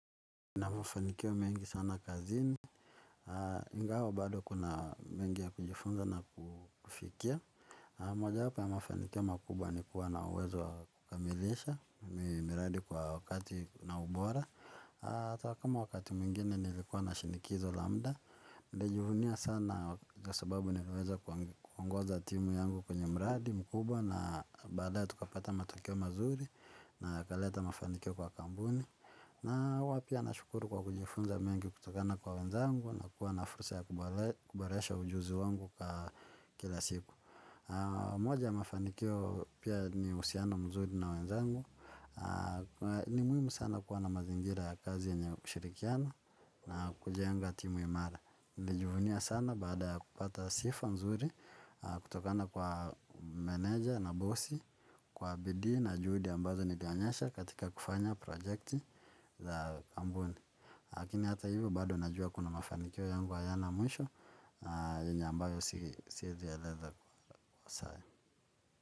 Mafanikio mengi sana kazini, ingawa bado kuna mengi ya kujifunza na kufikia. Na mojawapo ya mafanikio makubwa ni kuwa na uwezo wa kukamilisha, miradi kwa wakati na ubora. Hata kama wakati mwingine nilikuwa na shinikizo la muda, nitajivunia sana kwa sababu naweza kuongoza timu yangu kwenye mradi mkubwa. Na baadaye tukapata matokeo mazuri na yakaleta mafanikio kwa kampuni. Na huwa pia nashukuru kwa kujifunza mengi kutokana kwa wenzangu na kuwa na fursa ya kuboresha ujuzi wangu wa kila siku. Moja ya mafanikio pia ni uhusiano mzuri na wenzangu ni muhimu sana kuwa na mazingira ya kazi yenye ushirikiano na kujenga timu imara nilijivunia sana baada ya kupata sifa nzuri kutokana kwa meneja na bosi kwa bidii na juhudi ambazo nilionyesha katika kufanya project za kampuni lakini hata hivyo bado najua kuna mafanikio yangu hayana mwisho yenye ambayo sirzi eleza saa.